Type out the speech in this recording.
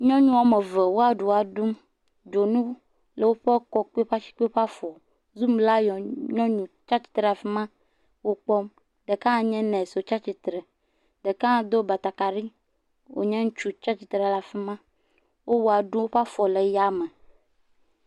Nyɔnu wɔme ve woa ɖua ɖum. Dzonu le woƒe kɔ kple woƒe asi kple woƒe afɔ. Zumlayɔ nyɔnu tsia tsitre ɖe afi ma wo kpɔm. Ɖeka hã nye nɔsi wotsia tsitre. Ɖeka hã do batakaɖi wonye ŋutsu tsia tsitre ɖe afi ma wowɔ ɖum woƒe afɔ le ya me.